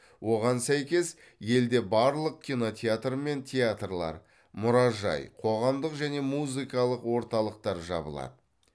оған сәйкес елде барлық кинотеатр мен театрлар мұражай қоғамдық және музыкалық орталықтар жабылады